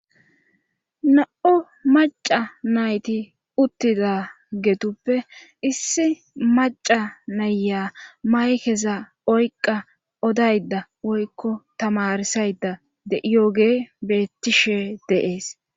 na'u maca nayti uttida mgeetuppe issi maca naya maykeza oyqa odayda woykko tamarsayda de'iyoge bettishe de'ees